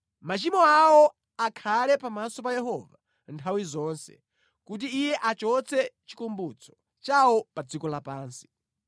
Machimo awo akhale pamaso pa Yehova nthawi zonse, kuti Iye achotse chikumbutso chawo pa dziko lapansi.